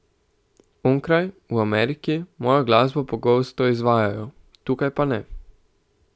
Onkraj, v Ameriki, mojo glasbo pogosto izvajajo, tukaj pa ne.